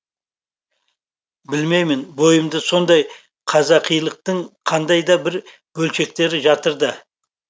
білмеймін бойымда сондай қазақилықтың қандай да бір бөлшектері жатыр да